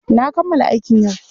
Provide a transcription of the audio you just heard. Na kammala aikin yau.